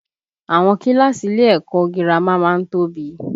Àwọn kíláàsì ilé ẹ̀kọ́ ọ girama má ń tóbi